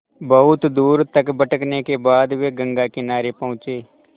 बहुत दूर तक भटकने के बाद वे गंगा किनारे पहुँचे